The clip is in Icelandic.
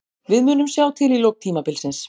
Við munum sjá til í lok tímabilsins.